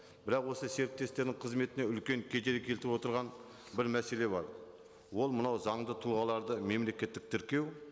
бірақ осы серіктестердің қызметіне үлкен кедергі келтіріп отырған бір мәселе бар ол мынау заңды тұлғаларды мемлекеттік тіркеу